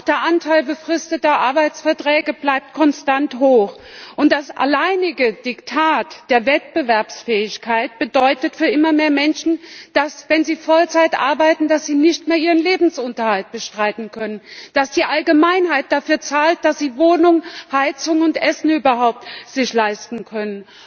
Auch der Anteil befristeter Arbeitsverträge bleibt konstant hoch, und das alleinige Diktat der Wettbewerbsfähigkeit bedeutet für immer mehr Menschen, dass sie, wenn sie Vollzeit arbeiten, ihren Lebensunterhalt nicht mehr bestreiten können, dass die Allgemeinheit dafür zahlt, dass sie sich Wohnung, Heizung und Essen leisten können.